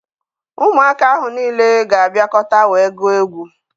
Ụmụaka ahụ niile ga-abịakọta wee gụọ egwu.